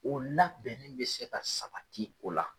O la bɛnnen bi se ka sabati o la.